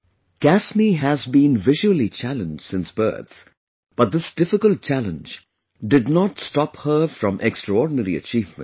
Kasmi has been blind since birth, but this difficult challenge did not stop her from extraordinary achievements